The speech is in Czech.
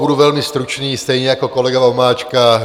Budu velmi stručný stejně jako kolega Vomáčka.